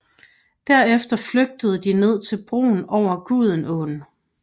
Derefter flygtede de ned til broen over Gudenåen